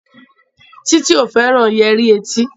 Titi o féràn Yẹrí tí.